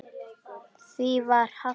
Því var hafnað.